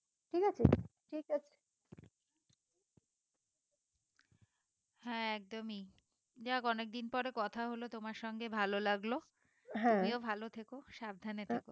হ্যাঁ একদমই যাক অনেকদিন পরে কথা হলো তোমার সঙ্গে ভালো লাগলো তুমিও ভালো থেকো সাবধানে থেকো